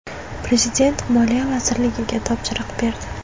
Prezident Moliya vazirligiga topshiriq berdi.